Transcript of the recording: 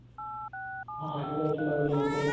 ആയിട്ടുണ്ടാവുലെ മൂപ്പര്.